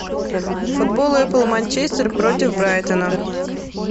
футбол апл манчестер против брайтона